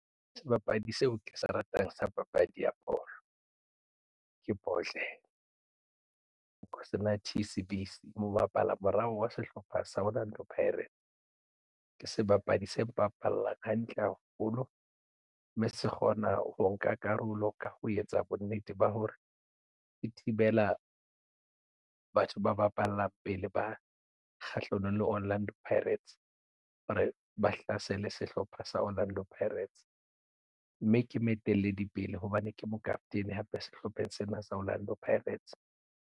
Sebapadi seo ke se ratang sa papadi ya bolo ke Bhodlela Nkosinathi Sibisi o bapala morao wa sehlopha Orlando Pirates ke sebapadi se mbapallang hantle haholo mme se kgona ho nka karolo ka ho etsa bonnete ba hore di thibela batho ba bapallang pele ba kgahlanong le Orlando Pirates hore ba hlasele sehlopha sa Orlando Pirates mme ke moetelli pele hobane ke mokaptene hape sehlopheng sena sa Orlando Pirates.